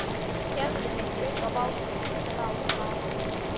Gefðu mig upp á bátinn, grátbað hann.